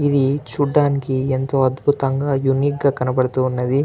ఇది చూడడానికి ఎంతో అద్భుతంగా యూనిక్ గ కనబడుతున్నది.